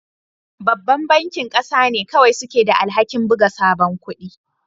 Babban bankin ƙasa ne kawai suke da alhakin buga sabon kudi